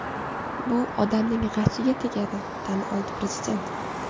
Bu odamning g‘ashiga tegadi”, tan oldi prezident.